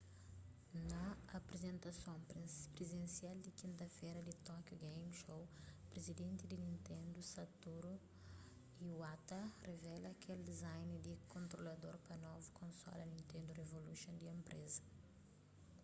na aprizentason prinsial di kinta-fera di tokyo game show prizidenti di nintendo satoru iwata revela kel design di kontrolador pa novu konsola nitendo revolution di enpreza